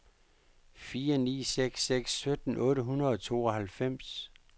fire ni seks seks sytten otte hundrede og tooghalvfems